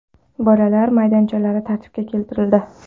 Bolalar maydonchalari tartibga keltirildi.